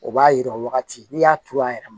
O b'a yira o wagati n'i y'a turu a yɛrɛ ma